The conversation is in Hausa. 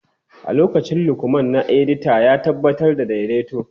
A lokacin Lukman na edita, ya tabbatar da daidaito.